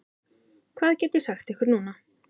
Hvað get ég sagt ykkur núna?